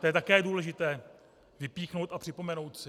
To je také důležité vypíchnout a připomenout si.